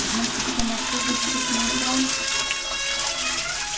значится ношу защитный экран